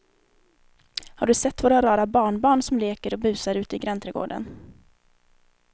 Har du sett våra rara barnbarn som leker och busar ute i grannträdgården!